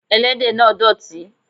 Ẹlẹ́dẹ̀ náà dọ̀tí.